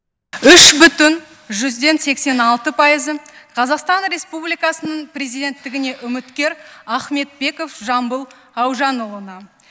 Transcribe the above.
үш бүтін жүзден сексен алты пайызы қазақстан республикасы президенттігіне үміткер ахметбеков жамбыл аужанұлына